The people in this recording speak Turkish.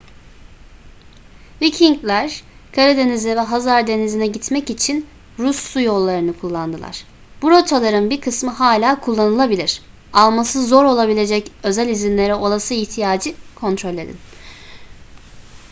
vikingler karadeniz'e ve hazar denizi'ne gitmek için rus su yollarını kullandılar bu rotaların bir kısmı hala kullanılabilir alması zor olabilecek özel izinlere olası ihtiyacı kontrol edin